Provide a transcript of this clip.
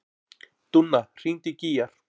Dúnna, hringdu í Gígjar.